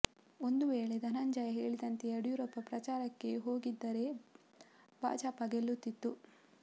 ಒಂದು ವೇಳೆ ಧನಂಜಯ ಹೇಳಿದಂತೆ ಯಡಿಯೂರಪ್ಪ ಪ್ರಚಾರಕ್ಕೆ ಹೋಗಿದ್ದರೆ ಭಾಜಪ ಗೆಲ್ಲುತ್ತಿತ್ತು